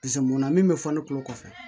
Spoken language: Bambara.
munna min bɛ fɔ ne kulo kɔfɛ